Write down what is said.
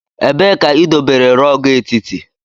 Ebee ka idobere rog etiti?